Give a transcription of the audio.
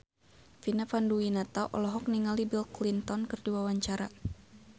Vina Panduwinata olohok ningali Bill Clinton keur diwawancara